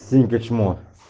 синька чмо